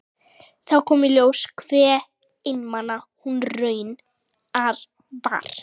Þá kom í ljós hve einmana hún raunar var.